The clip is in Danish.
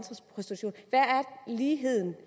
ligheden